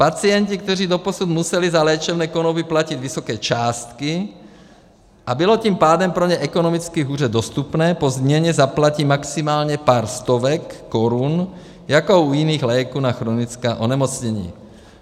Pacienti, kteří doposud museli za léčebné konopí platit vysoké částky, a bylo tím pádem pro ně ekonomicky hůře dostupné, po změně zaplatí maximálně pár stovek korun jako u jiných léků na chronická onemocnění.